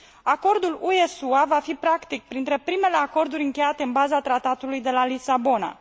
Acordul UE SUA va fi practic printre primele acorduri încheiate în baza Tratatului de la Lisabona.